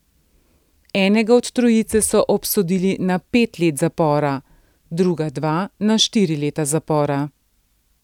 Enega od trojice so obsodili na pet let zapora, druga dva na štiri leta zapora.